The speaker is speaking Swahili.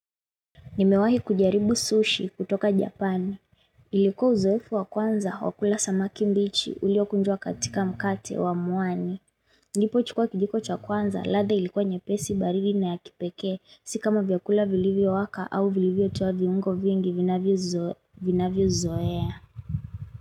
Nimewahi kujaribu sushi kutoka Japan. Ilikuwa uzoefu wa kwanza wa kula samaki mbichi ulio kunjwa katika mkate wa muani. Nilipo chukua kijiko cha kwanza ladha ilikuwa nyepesi baridi na ya kipeke. Si kama vyakula vilivyo waka au vilivyo toa viungo vingi vinanvyo vinavyo zoea.